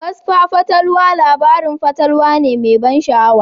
Kasfa fatalwa labarin fatalwa ne mai ban sha'awa.